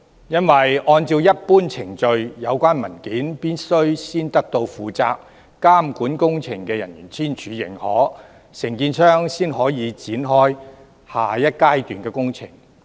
因為，按照一般程序，有關文件必須先得到負責監管工程的人員簽署認可，承建商才可以展開下一階段的工程。